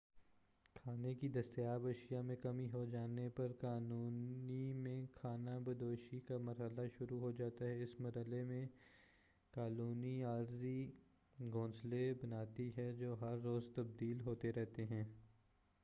کھانے کی دستیاب اشیاء میں کمی ہو جانے پر کالونی میں خانہ بدوشی کا مرحلہ شروع ہو جاتا ہے اس مرحلے میں کالونی عارضی گھونسلے بناتی ہے جو ہر روز تبدیل ہوتے رہتے ہیں